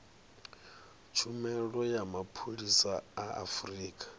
tshumelo ya mapholisa a afurika